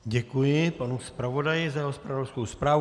Děkuji panu zpravodaji za jeho zpravodajskou zprávu.